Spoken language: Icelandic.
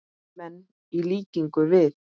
menn, í líkingu við.